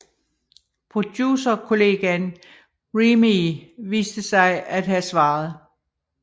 Producerkollegaen Remee viste sig at have svaret